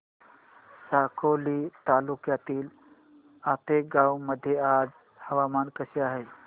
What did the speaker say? साकोली तालुक्यातील आतेगाव मध्ये आज हवामान कसे आहे